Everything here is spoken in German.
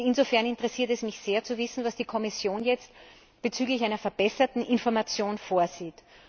Insofern interessiert es mich sehr zu wissen, was die Kommission jetzt bezüglich einer verbesserten Information vorsieht.